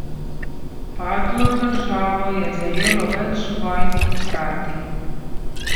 Padlo državo je zajelo več vojn hkrati.